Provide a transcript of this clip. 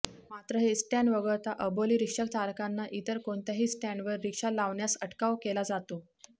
मात्र हे स्टॅण्ड वगळता अबोली रिक्षाचालकांना इतर कोणत्याही स्टॅण्डवर रिक्षा लावण्यास अटकाव केला जातो